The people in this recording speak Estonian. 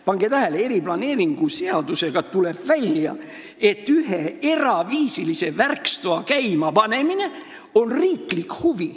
Pange tähele, planeerimisseadust lugedes tuleb välja, et ühe eraviisilise värkstoa käimapanemine on riiklik huvi.